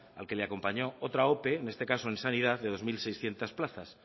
al que le acompañó otra ope en este caso en sanidad de dos mil seiscientos plazas